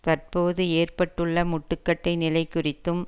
தற்போது ஏற்பட்டுள்ள முட்டுக்கட்டை நிலைக்குறித்தும்